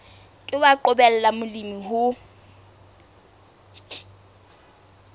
ke wa qobella molemi ho